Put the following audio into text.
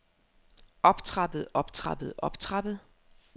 optrappet optrappet optrappet